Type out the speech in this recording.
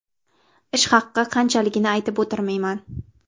Ish haqi qanchaligini aytib o‘tirmayman.